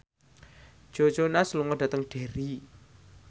Joe Jonas lunga dhateng Derry